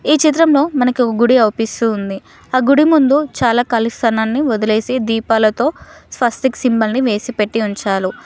ఈ చిత్రంలో మనకి ఒక గుడి అవుపిస్తూ ఉంది ఆ గుడి ముందు చాలా కాళీ స్థలాన్ని వదిలేసి దీపాలతో స్వస్తిక్ సింబల్ ని వేసిపెట్టి ఉంచాలు .